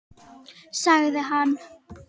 Sagði hann.